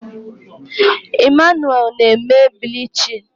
Emmanuel na-eme bilichini